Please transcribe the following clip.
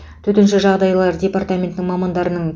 төтенше жағдайлар департаментінің мамандарының